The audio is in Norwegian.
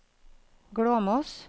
Glåmos